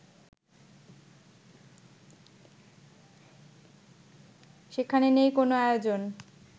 সেখানে নেই কোনো আয়োজন